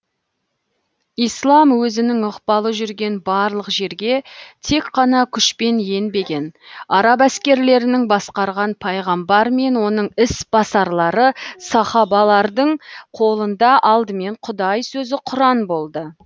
ислам өзінің ықпалы жүрген барлық жерге тек қана күшпен енбеген араб әскерлерінің басқарған пайғамбар мен оның ісбасарлары сахабалардың қолында алдымен құдай сөзі құран болды